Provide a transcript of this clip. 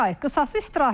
Qısası istirahət.